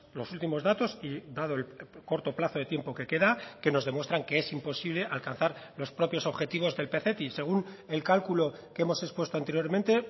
los últimos datos y dado el corto plazo de tiempo que queda que nos demuestran que es imposible alcanzar los propios objetivos del pcti según el cálculo que hemos expuesto anteriormente